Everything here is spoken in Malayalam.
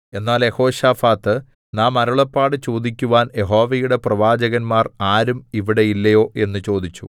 എന്നാൽ യെഹോശാഫാത്ത് നാം അരുളപ്പാട് ചോദിക്കുവാൻ യഹോവയുടെ പ്രവാചകന്മാർ ആരും ഇവിടെ ഇല്ലയോ എന്ന് ചോദിച്ചു